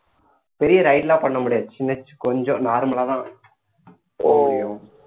பெரிய ride எல்லாம் பண்ண முடியாது சின்ன கொஞ்சம் normal லாதான் போக முடியும்